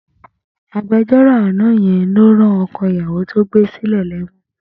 Agbejọ́rò àná yẹn ló rán ọkọ̀ ìyàwó tó gbé sílé lẹ́wọ̀n.